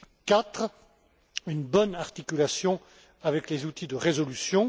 Quatrièmement, une bonne articulation avec les outils de résolution.